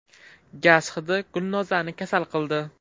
Gaz hidi Gulnozani kasal qildi.